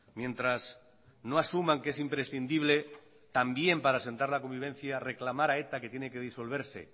mientras no asuman que es imprescindible también para asentar la convivencia reclamar a eta que tiene que disolverse